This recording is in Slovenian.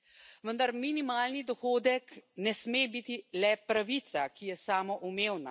Vendar minimalni dohodek ne sme biti le pravica, ki je samoumevna.